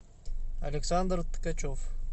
александр ткачев